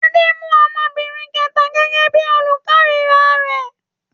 Adé mú ọmọbìnrin kẹ̀ta gẹ́gẹ́ bí i olúborí rẹ̀.